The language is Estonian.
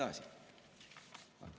Aitäh!